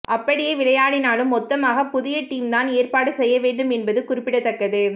அப்படியே விளையாடினாலும் மொத்தமாக புதிய டீம் தான் ஏற்பாடு செய்யவேண்டும் என்பது குறிப்பிடத்தக்கது